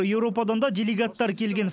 еуропадан да делегаттар келген